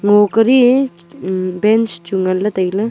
ngo kari bench chu ngan ley tai ley.